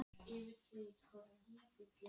Tengdapabba finnst þú ekki sýna gott fordæmi.